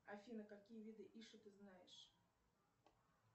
афина какие виды иши ты знаешь